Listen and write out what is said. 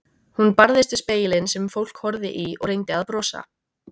Hún barðist við spegilinn sem fólk horfði í og reyndi að brosa.